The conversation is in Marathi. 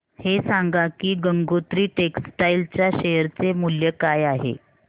हे सांगा की गंगोत्री टेक्स्टाइल च्या शेअर चे मूल्य काय आहे